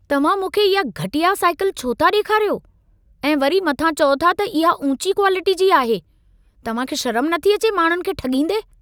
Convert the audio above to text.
तव्हां मूंखे इहा घटिया साइकिल छो था ॾेखारियो? ऐं वरी मथां चओ था त इहा ऊंची क्वालिटीअ जी आहे। तव्हां खे शरम नथी अचे माण्हुनि खे ठॻींदे?